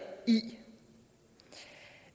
i